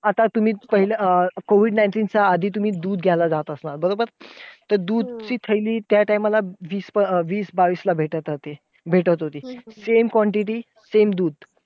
आता तुम्ही पहिले अं COVID nineteen च्या आधी तुम्ही दूध घ्यायला जात असणार. बरोबर? तर दूधची थैली त्या time ला वीस~ वीस बावीस भेटत होती. भेटत होती. same quantity same दूध.